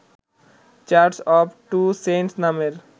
church of Two Saints নামের